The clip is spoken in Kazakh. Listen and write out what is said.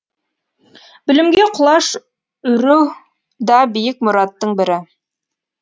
білімге құлаш үру да биік мұраттың бірі